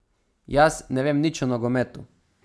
Jaz ne vem nič o nogometu.